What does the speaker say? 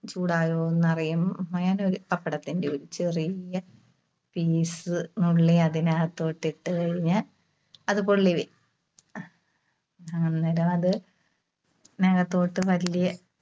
ചൂടായോ എന്നറിയാൻ, പപ്പടത്തിന്റെ ഒരു ചെറിയ piece നുള്ളി അതിനകത്തോട്ട് ഇട്ട് കഴിഞ്ഞാ അത് പൊള്ളി വരും. അന്നേരം അത് അതിനകത്തോട്ട് വല്യ